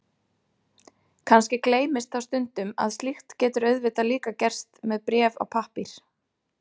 Kannski gleymist þá stundum að slíkt getur auðvitað líka gerst með bréf á pappír.